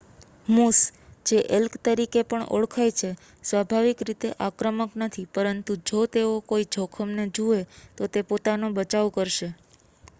moose જે elk તરીકે પણ ઓળખાય છે સ્વાભાવિક રીતે આક્રમક નથી પરંતુ જો તેઓ કોઈ જોખમને જુએ તો તે પોતાનો બચાવ કરશે